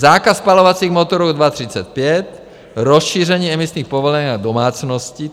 Zákaz spalovacích motorů 2035, rozšíření emisních povolenek na domácnosti.